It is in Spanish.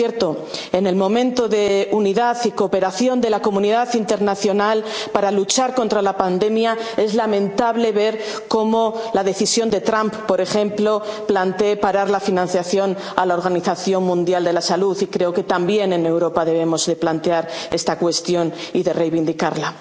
económica. Por cierto, en este momento de unidad y cooperación de la comunidad internacional para luchar contra la pandemia, es lamentable ver cómo Trump, por ejemplo, plantea parar la financiación a la Organización Mundial de la Salud, y creo que también en Europa debemos plantear esta cuestión y reivindicarla.